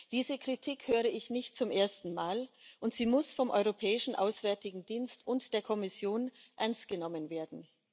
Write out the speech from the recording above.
Diese Kritik höre ich nicht zum ersten Mal, und sie muss vom Europäischen Auswärtigen Dienst und der Kommission ernst genommen werden.